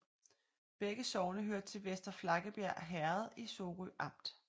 Begge sogne hørte til Vester Flakkebjerg Herred i Sorø Amt